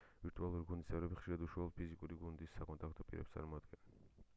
ვირტუალური გუნდის წევრები ხშირად უშუალო ფიზიკური გუნდის საკონტაქტო პირებს წარმოადგენენ